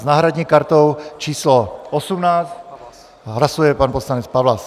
S náhradní kartou číslo 18 hlasuje pan poslanec Pawlas.